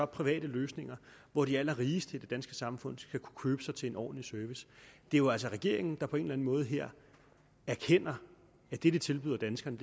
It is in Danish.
private løsninger hvor de allerrigeste i det danske samfund skal kunne købe sig til en ordentlig service det er jo altså regeringen der på en eller anden måde her erkender at det de tilbyder danskerne